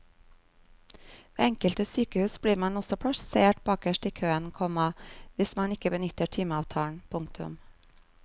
Ved enkelte sykehus blir man også plassert bakerst i køen, komma hvis man ikke benytter timeavtalen. punktum